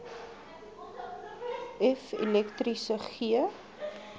f elektriese g